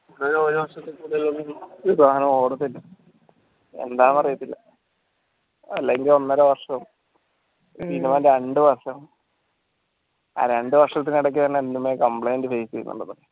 ഒരു വർഷത്തിൽ കൂടുതൽ ഒന്നും ഒരു സാനവും ഓടത്തില്ല എന്താറിയത്തില്ല അല്ലെങ്കിൽ ഒന്നരവർഷവും minimum രണ്ടു വർഷം ആ രണ്ട് വർഷത്തിനിടക്ക് തന്നെ എന്തെല്ലാം complaint face